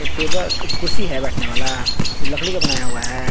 टेबक कुर्सी है बैठने वाला लकड़ी का बनाया हुआ है।